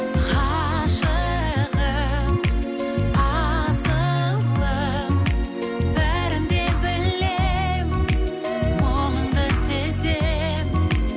ғашығым асылым бәрін де білемін мұңыңды сеземін